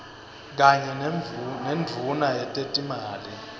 kanye nendvuna yetetimali